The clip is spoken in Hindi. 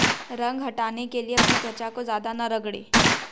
रंग हटाने के लिए अपनी त्वचा को ज्यादा न रगड़ें